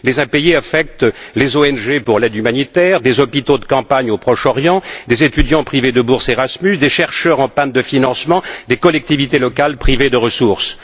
Les impayés affectent les ONG pour l'aide humanitaire, des hôpitaux de campagne au Proche Orient, des étudiants privés de bourse Erasmus, des chercheurs en panne de financement, des collectivités locales privées de ressources.